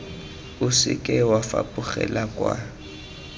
o seke wa fapogela kwa